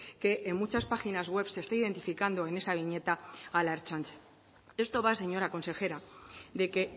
que en muchas páginas webs se está identificando en esa viñeta a la ertzaintza esto va señora consejera de que